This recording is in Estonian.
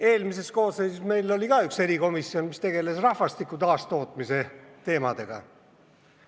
Eelmises koosseisus oli meil ka üks erikomisjon, mis tegeles rahvastiku taastootmise teemadega.